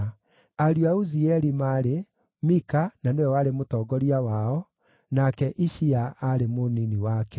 Ariũ a Uzieli maarĩ: Mika na nĩwe warĩ mũtongoria wao, nake Ishia aarĩ mũnini wake.